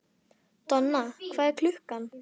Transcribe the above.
Donna, hvað er klukkan?